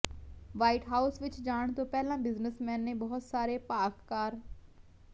white House ਵਿਚ ਜਾਣ ਤੋਂ ਪਹਿਲਾਂ ਬਿਜਨਸਮੈਨ ਨੇ ਬਹੁਤ ਸਾਰੇ ਭਾਖਕਾਰ